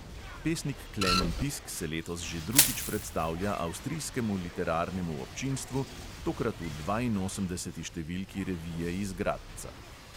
Pesnik klemen pisk se letos že drugič predstavlja avstrijskemu literarnemu občinstvu, tokrat v dvainosemdeseti številki revije iz gradca.